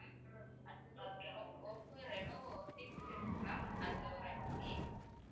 அடுத்தது Oppo Reno six இருக்குல்ல ma'am அதுல ஒரு அஞ்சு